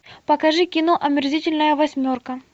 покажи кино омерзительная восьмерка